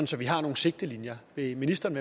så vi har nogle sigtelinjer vil ministeren